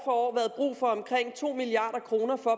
år været brug for omkring to milliard kroner for